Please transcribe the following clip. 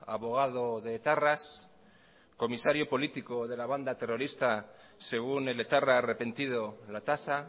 abogado de etarras comisario político de la banda terrorista según el etarra arrepentido latasa